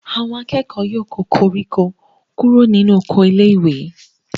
Àwọn akẹ́kọ̀ọ́ ó yọ koríko kúrò nínú oko iléèwé